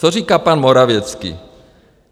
Co říká pan Morawiecki?